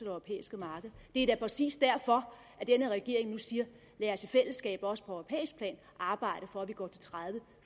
europæiske marked det er da præcis derfor denne regering nu siger lad os i fællesskab også på europæisk plan arbejde for at vi går